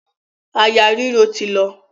Àyà ríro ti lọ.